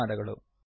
ಧನ್ಯವಾದಗಳು